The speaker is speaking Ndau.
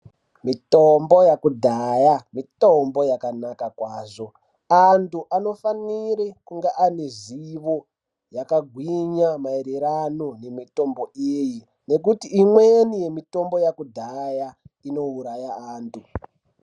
Mitombo yekudhaya mitombo yakanaka kwazvo antu anofanira kuva anezivo yakagwinya mairirano nemitombo iyi ngekutii imweni yemitombo yekudhaya inouraya antu.